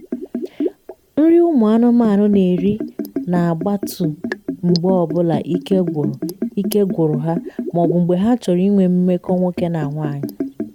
nri ụmụ anụmanụ na eri na gbatu mgbe ọbụla ike gwụru ike gwụru ha ma ọbụ mgbe ha chọrọ ịnwe mmekọ nwoke na nwanyi